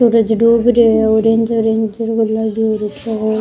सूरज डूब रो है ऑरेंज ऑरेंज --